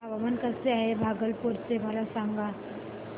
हवामान कसे आहे भागलपुर चे मला सांगा